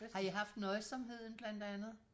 Har I haft Nøjsomheden blandt andet?